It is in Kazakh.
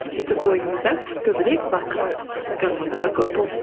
сөйтіп бойыңызда көбірек бақыт гормондары көп болсын